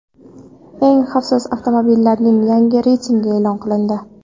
Eng xavfsiz avtomobillarning yangi reytingi e’lon qilindi.